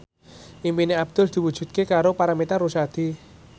impine Abdul diwujudke karo Paramitha Rusady